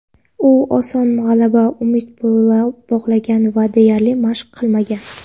u oson g‘alabaga umid bog‘lagan va deyarli mashq qilmagan.